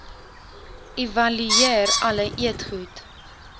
evalueer alle eetgoed